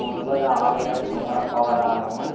ஒன்பது ஆலைகளை மூடப் போவதாகவும்